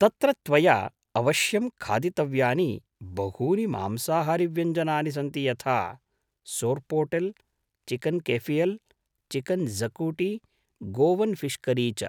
तत्र त्वया अवश्यं खादितव्यानि बहूनि मांसाहारीव्यञ्जनानि सन्ति यथा, sorpotel, chicken cafreal, chicken xacuti, Goan fish curry च।